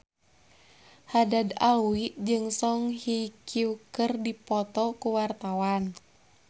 Haddad Alwi jeung Song Hye Kyo keur dipoto ku wartawan